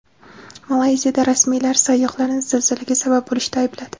Malayziyada rasmiylar sayyohlarni zilzilaga sabab bo‘lishda aybladi.